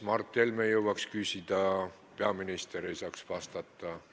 Mart Helme jõuaks küsida, aga peaminister ei jõuaks vastata.